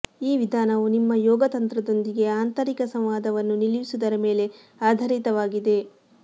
ಈ ವಿಧಾನವು ನಿಮ್ಮ ಯೋಗ ತಂತ್ರದೊಂದಿಗೆ ಆಂತರಿಕ ಸಂವಾದವನ್ನು ನಿಲ್ಲಿಸುವುದರ ಮೇಲೆ ಆಧಾರಿತವಾಗಿದೆ